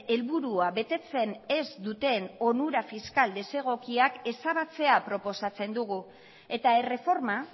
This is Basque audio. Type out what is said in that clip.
helburua betetzen ez duten onura fiskal desegokiak ezabatzea proposatzen dugu eta erreforma